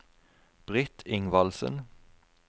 Britt Ingvaldsen